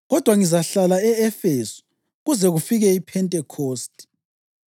Kodwa ngizahlala e-Efesu kuze kufike iPhentekhosti,